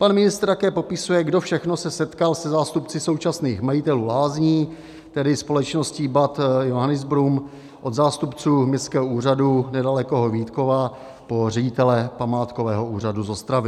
Pan ministr také popisuje, kdo všechno se setkal se zástupci současných majitelů lázní, tedy společností Bad Johannisbrunn, od zástupců městského úřadu nedalekého Vítkova po ředitele památkového úřadu z Ostravy.